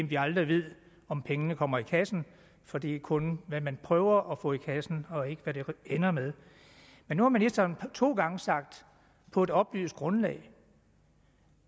vi aldrig ved om pengene kommer i kassen for det er kun hvad man prøver at få i kassen og ikke hvad det ender med men nu har ministeren to gange sagt på et oplyst grundlag